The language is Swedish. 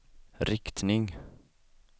riktning